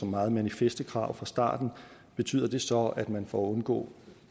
meget manifeste krav fra starten betyder det så at man for at undgå